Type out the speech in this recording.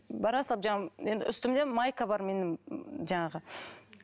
бара салып жаңағы енді үстімде майка бар менің жаңағы